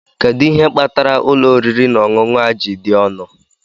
Kedu ihe kpatara ụlọ oriri na ọṅụṅụ a ji dị ọnụ?